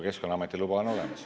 Keskkonnaameti luba on olemas.